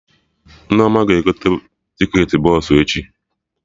Nneoma ga-egote ticketị bọsụ echi